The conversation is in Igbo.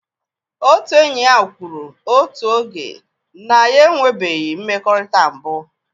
Otu enyi ya kwuru otu oge na ya enwebeghị mmekọrịta mbụ